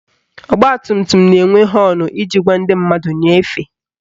Ọgbatumtum na-enwe họọnụ iji gwa ndị mmadụ nye efe